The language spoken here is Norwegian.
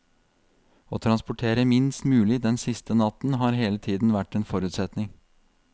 Å transportere minst mulig den siste natten har hele tiden vært en forutsetning.